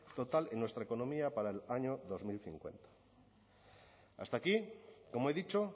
total en nuestra economía para el año dos mil cincuenta hasta aquí como he dicho